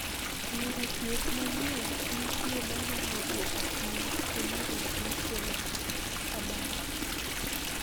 Yore thieth manyien nitie manyalo duoko piny hinyruok mikelo kod abach.